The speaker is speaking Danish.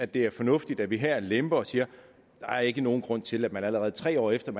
det er fornuftigt at vi her lemper og siger der er ikke nogen grund til at man allerede tre år efter at